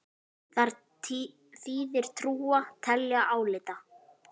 Þar þýðir trúa: telja, álíta.